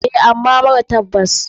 Eh ama mara tabbas.